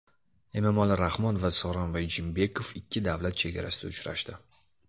Emomali Rahmon va Sooronbay Jeenbekov ikki davlat chegarasida uchrashdi.